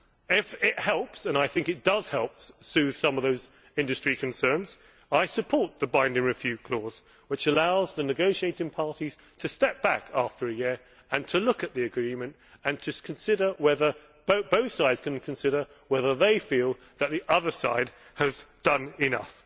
If it helps and I think it does help soothe some of those industry concerns I support the binding review clause which allows the negotiating parties to step back after a year and to look at the agreement and consider whether the other side has done enough.